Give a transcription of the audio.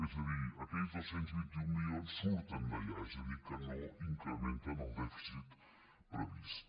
és a dir aquells dos cents i vint un milions surten d’allà és a dir que no incrementen el dèficit previst